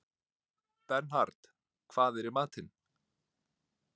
Bernhard, hvað er í matinn?